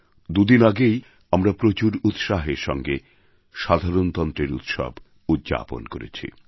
দুদিন আগেই আমরা প্রচুর উৎসাহের সঙ্গে সাধারণতন্ত্রের উৎসব উদ্যাপন করেছি